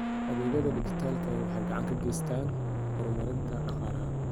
Adeegyada dijitaalka ah waxay gacan ka geystaan ??horumarinta dhaqaalaha.